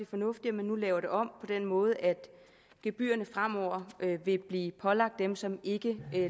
fornuftigt at man nu laver det om på den måde at gebyrerne fremover vil blive pålagt dem som ikke